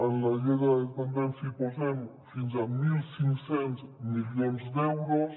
en la llei de dependència hi posem fins a mil cinc cents milions d’euros